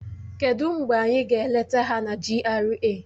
Kedụ mgbe anyị ga-eleta ha na GRA?